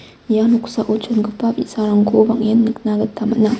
ia noksao chongipa bi·sarangko bang·en nikna gita man·a.